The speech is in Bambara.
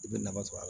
I bɛ nafa sɔrɔ a la